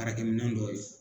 Araki minɛn dɔw ye.